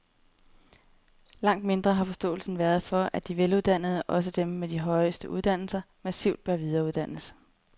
Langt mindre har forståelsen været for, at de veluddannede, også dem med de højeste uddannelser, massivt bør videreuddannes.